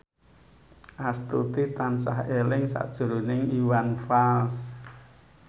Astuti tansah eling sakjroning Iwan Fals